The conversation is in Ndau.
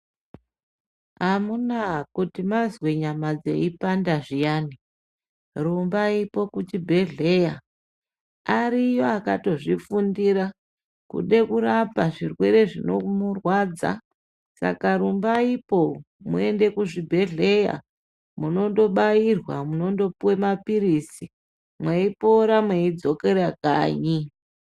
Amunaa kuti mazwe nyama dzeipanda zviyani ,rumbaipo kuchibhedhleya. Ariyo akatozvifundira kude kurapa zvirwere zvinomurwadza. Saka rumbaipo muende kuzvibhedhleya. Munotobairwa, munondopuwe maphirizi, mweipora mweidzokera kanyi.